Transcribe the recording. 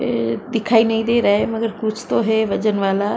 दिखाई नहीं दे रहा है मगर कुछ तो है वजन वाला।